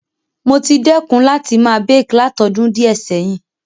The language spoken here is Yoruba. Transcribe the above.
Mo ti dẹ́kun àti ma bake látodún díẹ̀ sẹ̀hin